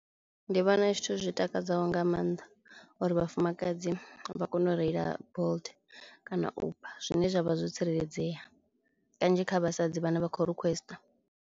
Ndi vhona zwithu zwi takadzaho nga mannḓa uri vhafumakadzi vha kone u reila Bolt kana Uber zwine zwavha zwo tsireledzea, kanzhi kha vhasadzi vhana vha kho requester.